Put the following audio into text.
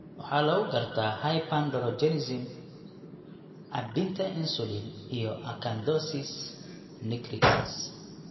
Waxaa lagu gartaa hyperandrogenism, caabbinta insulin, iyo acanthosis nigricans.